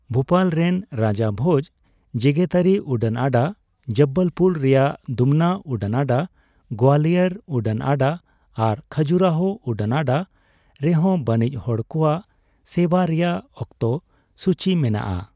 ᱵᱷᱩᱯᱟᱞ ᱨᱮᱱ ᱨᱟᱡᱟ ᱵᱷᱳᱡᱽ ᱡᱮᱜᱮᱛᱟᱹᱨᱤ ᱩᱰᱟᱹᱱ ᱟᱰᱟ, ᱡᱚᱵᱽᱵᱚᱞᱯᱩᱨ ᱨᱮᱭᱟᱜ ᱫᱩᱢᱱᱟ ᱩᱰᱟᱹᱱ ᱟᱰᱟ, ᱜᱳᱣᱟᱞᱤᱭᱚᱨ ᱩᱰᱟᱹᱱ ᱟᱰᱟ ᱟᱨ ᱠᱷᱟᱡᱩᱨᱟᱦᱳ ᱩᱰᱟᱹᱱ ᱟᱰᱟ ᱨᱮᱦᱚᱸ ᱵᱟᱹᱱᱤᱡᱽ ᱦᱚᱲ ᱠᱚᱣᱟᱜ ᱥᱮᱵᱟ ᱨᱮᱭᱟᱜ ᱚᱠᱛᱚ ᱥᱚᱪᱤ ᱢᱮᱱᱟᱜᱼᱟ ᱾